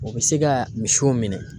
O bɛ se ka misiw minɛ.